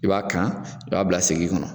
I b'a kan i b'a bila segi kɔnɔ.